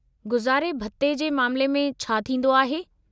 गुज़ारे भत्ते जे मामिले में छा थींदो आहे?